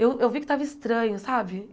Eu eu vi que estava estranho, sabe?